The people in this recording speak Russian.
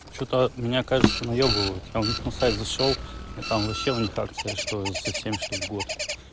что-то меня кажется наебывают я у них на сайт зашёл и там вообще у них акция что за семь штук в год